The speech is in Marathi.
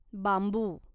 बांबू